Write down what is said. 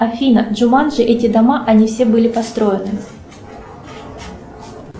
афина джуманджи эти дома они все были построены